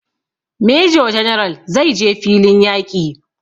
Major general zai je filin yaƙi